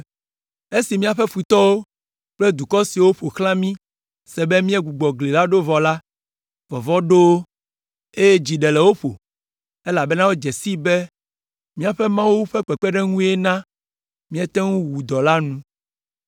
Esi míaƒe futɔwo kple dukɔ siwo ƒo xlã mí se be míegbugbɔ gli la ɖo vɔ la, vɔvɔ̃ ɖo wo, eye dzi ɖe le wo ƒo, elabena wodze sii be míaƒe Mawu ƒe kpekpeɖeŋue na míete ŋu wu dɔ la nu.